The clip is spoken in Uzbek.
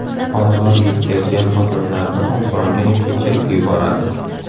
Ozor yetkazgan odamlarni osongina kechirib yuboradi.